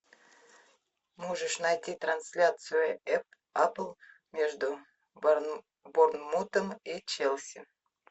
можешь найти трансляцию апл между борнмутом и челси